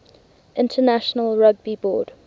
international rugby board